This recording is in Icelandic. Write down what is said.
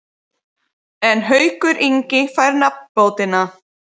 En Haukur Ingi fær nafnbótina.